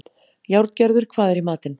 Járngerður, hvað er í matinn?